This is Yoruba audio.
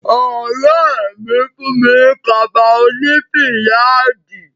Ọ̀rẹ́ mi fún mi ní kaba oní fìyáàdì.